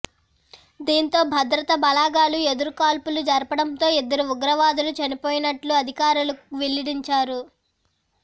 దీంతో భద్రతబలగాలు ఎదురుకాల్పులు జరపడంతో ఇద్దరు ఉగ్రవాదులు చనిపోయినట్లు అధికారులు వెల్లడించారు